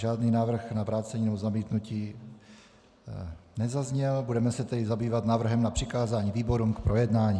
Žádný návrh na vrácení nebo zamítnutí nezazněl, budeme se tedy zabývat návrhem na přikázání výborům k projednání.